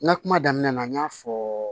N ka kuma daminɛ na n y'a fɔ